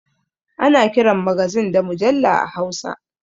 Ana kiran magazin da mujalla a hausa